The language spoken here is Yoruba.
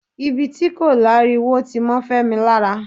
ibi tí kò lári wo ti mọ́ Fẹ́mi lára